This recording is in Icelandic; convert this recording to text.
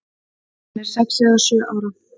Hann er sex eða sjö ára.